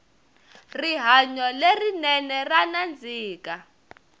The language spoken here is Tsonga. rihanyo le rinene ra nandzika